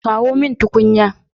Kawo mun tukunya